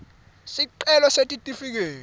sicelo sesitifiketi